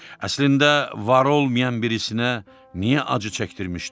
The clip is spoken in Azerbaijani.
Əslində var olmayan birisinə niyə acı çəkdirmişdim?